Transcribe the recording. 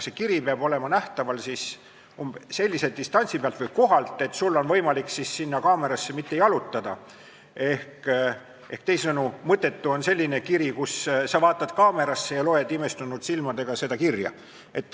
See kiri peab olema nähtaval sellise distantsi pealt või sellisel kohal, et sul on võimalik mitte kaamerasse jalutada, teisisõnu, mõttetu on selline kiri, kui sa vaatad kaamerasse ja loed imestunud silmadega seda kirja.